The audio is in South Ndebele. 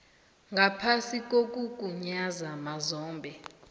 ngaphasi kokugunyaza mazombe